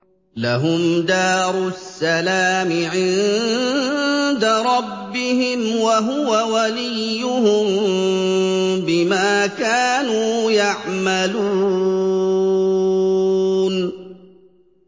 ۞ لَهُمْ دَارُ السَّلَامِ عِندَ رَبِّهِمْ ۖ وَهُوَ وَلِيُّهُم بِمَا كَانُوا يَعْمَلُونَ